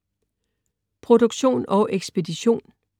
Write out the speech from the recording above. Produktion og ekspedition: